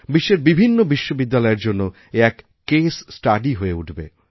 বিশ্বের বিভিন্ন বিশ্ববিদ্যালয়ের জন্য এ এক কেস স্টাডি হয়ে উঠবে